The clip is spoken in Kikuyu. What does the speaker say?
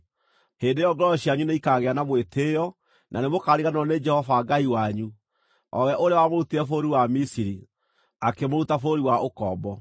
hĩndĩ ĩyo ngoro cianyu nĩikaagĩa na mwĩtĩĩo, na nĩmũkariganĩrwo nĩ Jehova Ngai wanyu, o we ũrĩa wamũrutire bũrũri wa Misiri, akĩmũruta bũrũri wa ũkombo.